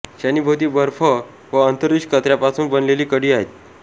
शनीभोवती बर्फ व अंतरीक्ष कचऱ्यापासून बनलेली कडी आहेत